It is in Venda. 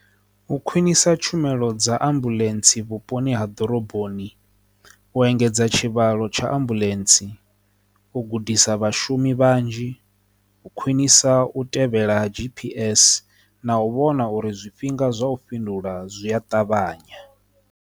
U khwinisa tshumelo dza ambuḽentse vhuponi ha ḓoroboni, u engedza tshivhalo tsha ambuḽentse, u gudisa vhashumi vhanzhi, u khwinisa u tevhela G_P_S na u vhona uri zwifhinga zwa u fhindula zwi a ṱavhanya.